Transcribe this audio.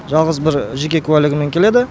жалғыз бір жеке куәлігімен келеді